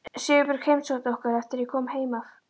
Sigurbjörg heimsótti okkur eftir að ég kom heim af